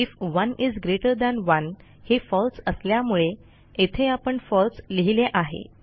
if 1 is greater than 1 हे falseअसल्यामुळे येथे आपण falseलिहिले आहे